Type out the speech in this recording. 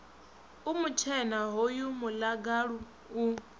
u mutshena hoyu muḽagalu u